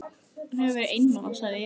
Hann hefur verið einmana, sagði Emil.